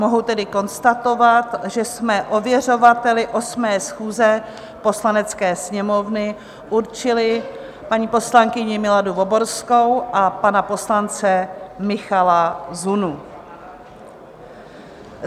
Mohu tedy konstatovat, že jsme ověřovateli 8. schůze Poslanecké sněmovny určili paní poslankyni Miladu Voborskou a pana poslance Michala Zunu.